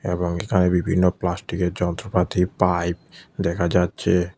এবং এখানে বিভিন্ন প্লাস্টিকের যন্ত্রপাতি পাইপ দেখা যাচ্ছে।